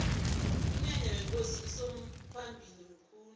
umnyanya wekosi usomphalili mkhulu